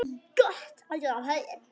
Gott að geta hlegið.